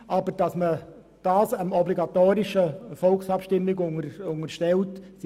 Wir sind aber dagegen, das StG der obligatorischen Volksabstimmung zu unterstellen.